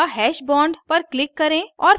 add a hash bond पर click करें